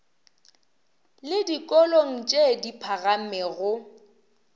le dikolong tše di phagamego